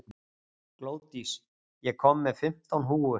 Glódís, ég kom með fimmtán húfur!